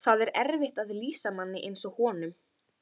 Lindi, hvað er á áætluninni minni í dag?